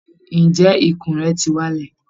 Ǹjẹ́ ikùn rẹ ti wálẹ̀?